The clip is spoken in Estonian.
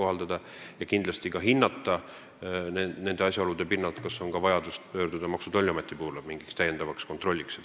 Nende asjaolude pinnalt tuleb hinnata, kas on vajadust pöörduda Maksu- ja Tolliameti poole täiendavaks kontrolliks.